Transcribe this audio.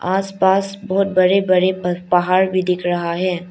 आसपास बहुत बड़े बड़े पर पहाड़ भी दिख रहा है।